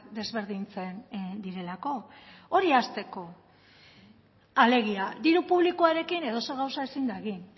desberdintzen direlako hori hasteko alegia diru publikoarekin edozer gauza ezin da egin